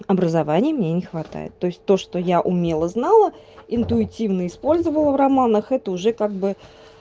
образование мне не хватает то есть то что я умела знала интуитивно использовала в романах это уже как бы